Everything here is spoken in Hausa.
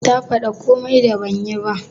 Ta fada komi da ban yi ba?